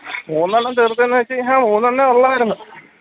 മൂന്നെണ്ണം തീർത്ത് എന്ന് വെച്ച് കഴിഞ്ഞ മൂന്നെണ്ണേ ഉള്ളായിരുന്നു